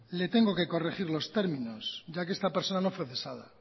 le tengo que corregir los términos ya que esta personas no fue cesada